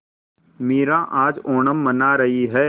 मीरा आज ओणम मना रही है